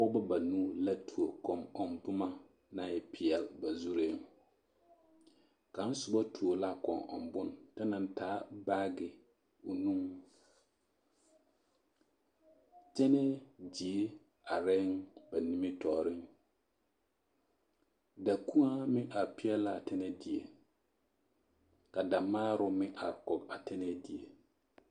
Pɔgbɔ banuu la tuo kɔŋ ɔŋ boma naŋ e peɛl ba zureŋ kaŋ sobɔ tuo la kɔŋ ɔŋ bon ta naŋ taa baage o nuŋ tɛnɛɛ die areŋ ba nimitɔɔreŋ da kuoaa meŋ are peɛl laa tɛnɛɛ die ka da maaroŋ meŋ are kɔg a tɛnɛɛ die.